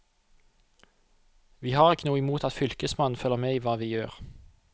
Vi har ikke noe imot at fylkesmannen følger med i hva vi gjør.